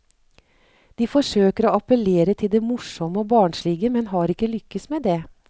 De forsøker å appellere til det morsomme og barnslige, men har ikke lykkes med det.